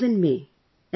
This was in May